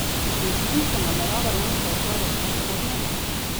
In s čim se namerava Janša ukvarjati v prihodnje?